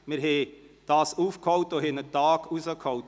Wir haben diesen aufgeholt und sogar einen ganzen Tag herausgeholt.